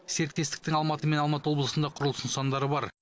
серіктестіктің алматы мен алматы облысында құрылыс нысандары бар